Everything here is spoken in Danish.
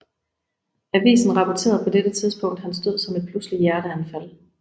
Avisen rapporterede på dette tidspunkt hans død som et pludseligt hjerteanfald